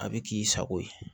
A bɛ k'i sago ye